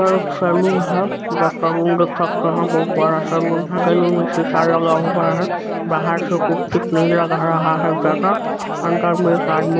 यह एक सैलून है जैसा सामने से देख सकते है बहुत बड़ा सैलून है सैलून में सीसा लगा हुआ हैं बाहर से कुछ ठीक नहीं लग रहा है ज्यादा अंदर में एक आदमी----